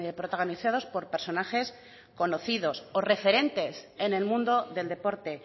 protagonizados por personajes conocidos o referentes en el mundo del deporte